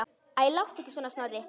Æ, láttu ekki svona, Snorri.